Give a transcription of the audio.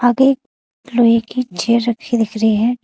आगे लोहे की चेयर रखी दिख रही है।